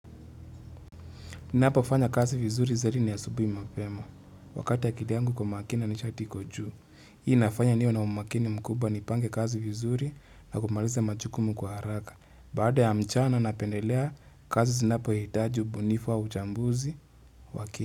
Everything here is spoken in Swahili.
Ninapofanya kazi vizuri zaidi ni asubuhi mapema. Wakati akili yangu iko makini nishati iko juu. Hii nafanya niwe na umakini mkubwa nipange kazi vizuri na kumaliza majukumu kwa haraka. Baada ya mchana napendelea kazi zinapohitaji ubunifu au uchambuzi wa kini.